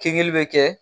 Kinbiri bɛ kɛ